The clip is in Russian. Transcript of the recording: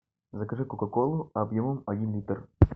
закажи кока колу объемом один литр